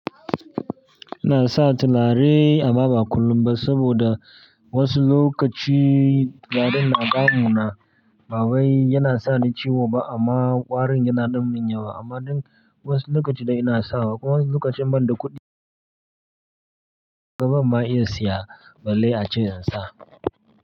Ina sa tualare amma ba kullum ba saboda wasu lokaci gadon na damu na. Baba yana sa ni ciwo ba amma ƙwarin yana ɗumin ya wa amma ɗan wasu lokaci dai ina sawa. Wasu lokacin banda kuɗi babba ma iya siya ballai a cikin zansa.